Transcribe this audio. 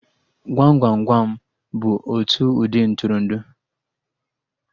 Gwam Gwam Gwam bụ otu ụdị Ntụrụndụ